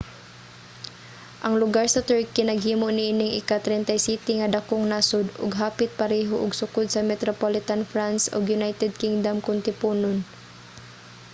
ang lugar sa turkey naghimo niining ika-37 nga dakong nasod ug hapit pareho og sukod sa metropolitan france ug united kingdom kon tiponon